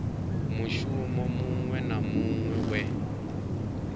mushumo muṅwe na muṅwe we